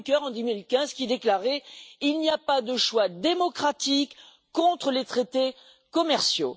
Juncker en 2015, qui déclarait Il n'y a pas de choix démocratique contre les traités commerciaux.